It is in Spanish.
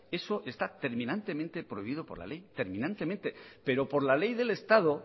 eso está terminantemente prohibido por la ley terminantemente pero por la ley del estado